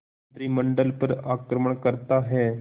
मंत्रिमंडल पर आक्रमण करता है